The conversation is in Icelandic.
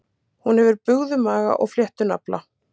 Hún hefur bugðumaga og fléttunafla.